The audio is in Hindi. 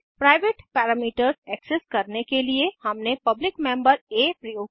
प्राइवेट पैरामीटर्स एक्सेस करने के लिए हमने पब्लिक मेम्बर आ प्रयोग किया